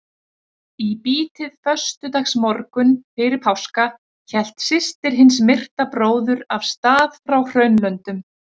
Í bítið föstudagsmorgunn fyrir páska hélt systir hins myrta bróður af stað frá Hraunlöndum.